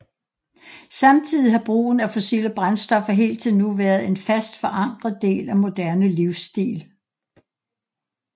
Samtidig har brugen af fossile brændstoffer helt til nu været en fast forankret del af moderne livsstil